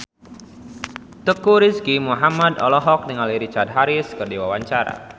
Teuku Rizky Muhammad olohok ningali Richard Harris keur diwawancara